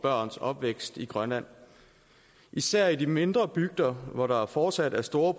børns opvækst i grønland især i de mindre bygder hvor der fortsat er store